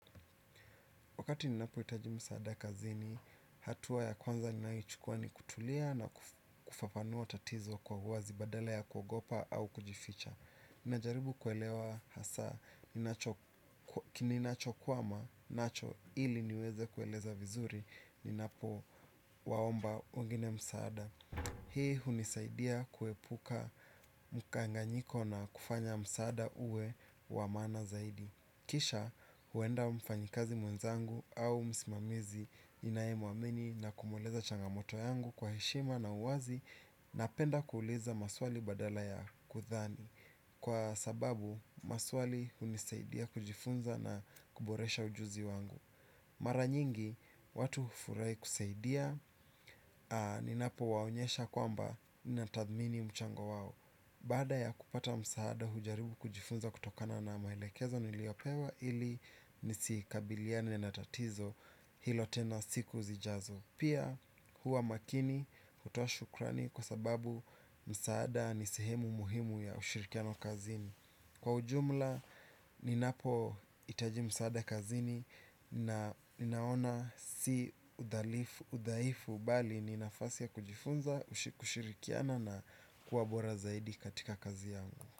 Wakati ninapo hitaji msaada kazini, hatua ya kwanza ninayo chukua ni kutulia na kufafanua tatizo kwa huwazi badala ya kuogopa au kujificha. Ninajaribu kuelewa hasa, kininacho kwama, nacho ili niweze kueleza vizuri, ninapo waomba wengine msaada. Hii hunisaidia kuepuka mkanganyiko na kufanya msaada uwe wamaana zaidi. Kisha, huenda mfanyakazi mwenzangu au msimamizi ninae mu amini na kumueleza changamoto yangu kwa heshima na uwazi na penda kuuliza maswali badala ya kudhani. Kwa sababu, maswali hunisaidia kujifunza na kuboresha ujuzi wangu. Maranyingi, watu hufurahi kusaidia, ni napo waonyesha kwamba ni natathmini mchango wao. Baada ya kupata msaada hujaribu kujifunza kutokana na maelekezo niliyopewa ili nisi kabiliane na tatizo hilo tena siku zijazo. Pia huwa makini kutoa shukrani kwa sababu msaada nisehemu muhimu ya ushirikiano kazini. Kwa ujumla, ninapo hitajimu msaada kazini na ninaona si udhaifu bali ninafasi ya kujifunza, kushirikiana na kuwabora zaidi katika kazi yangu.